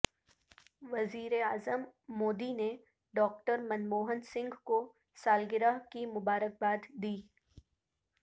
وزیراعظم مودی نے ڈاکٹر منموہن سنگھ کو سالگرہ کی مبارکباد دی